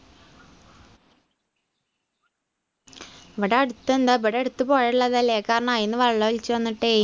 ഇവിടെ അടുത്ത് എന്താ ഇവിടെ അടുത്ത് പുഴ ഉള്ളതല്ലേ കാരണം അയിന്നു വെള്ളമൊലിച്ചു വന്നിട്ടേ